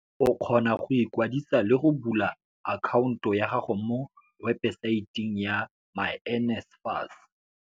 o kgone go ikwadisa le go bula akhaonto ya gago mo webesaeteng ya myNSFAS.